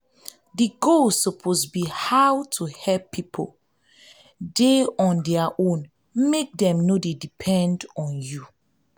the goal suppose be how to help pipo dey on their own make dem no dey depend on you